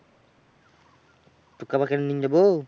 তোকে আবার কেনে নিয়ে যাব?